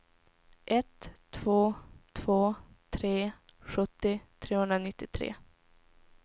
ett två två tre sjuttio trehundranittiotre